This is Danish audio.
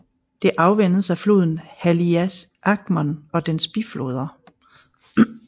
Det afvandes af floden Haliacmon og dens bifloder